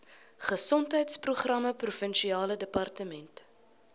gesondheidsprogramme provinsiale departement